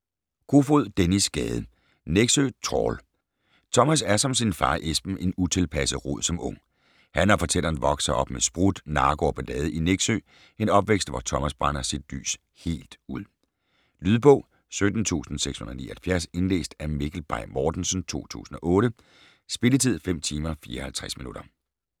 Kofod, Dennis Gade: Nexø Trawl Thomas er som sin far Esben en utilpasset rod som ung. Han og fortælleren vokser op med sprut, narko og ballade i Nexø, en opvækst, hvor Thomas brænder sit lys helt ud. Lydbog 17679 Indlæst af Mikkel Bay Mortensen, 2008. Spilletid: 5 timer, 54 minutter.